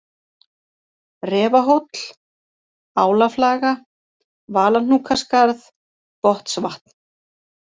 Refahóll, Álaflaga, Valahnúkaskarð, Botnsvatn